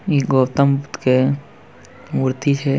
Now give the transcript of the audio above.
इ गौतम बुद्ध के मूर्ति छै।